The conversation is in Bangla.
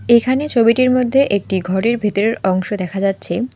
এখানে ছবিটির মধ্যে একটি ঘরের ভিতরের অংশ দেখা যাচ্ছে।